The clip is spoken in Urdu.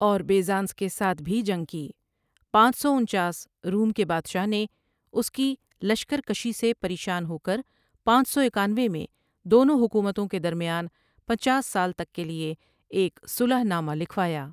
اور بیزانس کے ساتھ بھی جنگ کی پانچ سو انچاس روم کے بادشاہ نے اس کی لشکرکشی سے پریشان ہوکرپانچ سو اکانوے میں دونوں حکومتوں کے درمیان پنچاس سال تک کیلئے ایک صلح نامہ لکھوایا۔